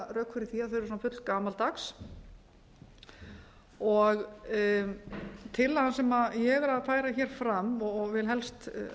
rök fyrir því að þau eru fullgamaldags tillagan sem ég er að færa fram og vil helst